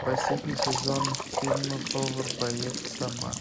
последний сезон фильма повар боец сома